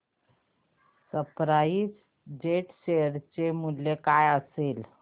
spice jet share चे मूल्य काय असेल